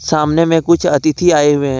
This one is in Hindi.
सामने में कुछ अतिथि आए हुए हैं।